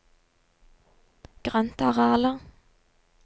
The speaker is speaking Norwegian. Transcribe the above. grøntarealer